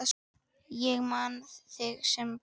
Ég man þig sem bróður.